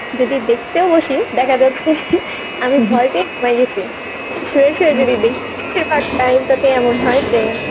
যদি দেখতেও বসি দেখা যাচ্ছে আমি ভয় পেয়ে ঘুমাই গেছি শুয়ে শুয়ে যদি দেখি, এবার time টাতে এমন হয় যে